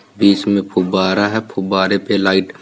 बीच में फुब्बारा है। फुब्बारे पे लाइट --